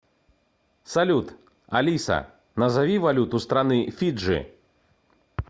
салют алиса назови валюту страны фиджи